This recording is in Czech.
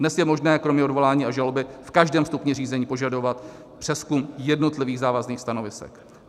Dnes je možné kromě odvolání a žaloby v každém stupni řízení požadovat přezkum jednotlivých závazných stanovisek.